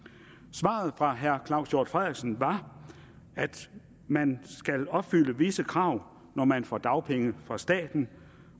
svaret fra herre claus hjort frederiksen var at man skal opfylde visse krav når man får dagpenge fra staten